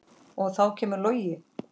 Og þá kemur Logi.